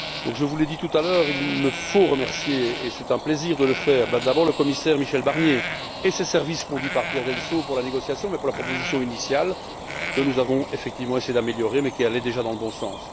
Je vous l'ai dit tout à l'heure, il me faut remercier, et c'est un plaisir de le faire, d'abord le commissaire Michel Barnier et ses services conduits par Pierre Delsaux pour la négociation mais aussi pour la proposition initiale, que nous avons effectivement essayé d'améliorer mais qui allait déjà dans le bon sens.